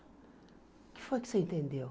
O que foi que você entendeu?